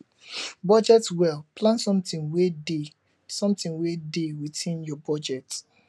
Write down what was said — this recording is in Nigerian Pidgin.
budget well plan something wey dey something wey dey within your budget